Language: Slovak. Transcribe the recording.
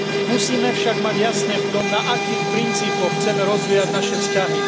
Musíme však mať jasno v tom, na akých princípoch chceme rozvíjať naše vzťahy.